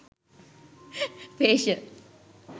facial